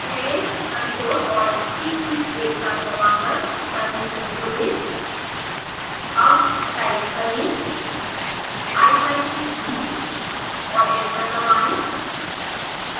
पहले ctrl+alt+t keys एक साथ दबाकर टर्मिनल खोलें अब टाइप करें ipython3 और एंटर दबाएं